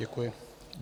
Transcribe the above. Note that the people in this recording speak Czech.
Děkuji.